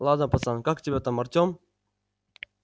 ладно пацан как тебя там артём